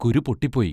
കുരു പൊട്ടിപ്പോയി.